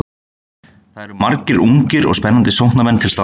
Það eru margir ungir og spennandi sóknarmenn til staðar.